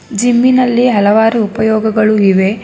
Gym ಇನಲ್ಲಿ ಹಲವಾರು ಉಪಯೋಗಗಳು ಇವೆ.